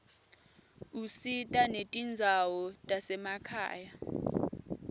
usita netindzawo tasemakhaya